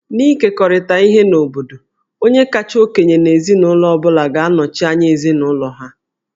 N'ịkekọrịta ihe n'obodo, onye kacha okenye n'ezinụlọ ọ bụla ga-anọchi anya ezinụlọ ha